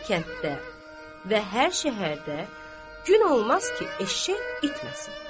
Hər kənddə və hər şəhərdə gün olmaz ki, eşşək itməsin.